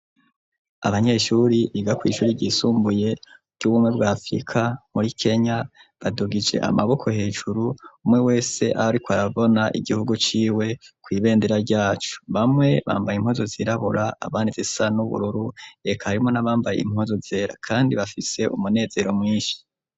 Abanyeshuri biga kw'ishuri ryisumbuye ry'ubumwe bwa afrika muri Kenya badugije amaboko hejuru umwe wese aho ariko arabona igihugu ciwe kw'ibendera ryaco bamwe bambaye impuzu zisa n'ubururu eka harimwo n'abambaye impuzu zera kandi bafise umunezero mwishi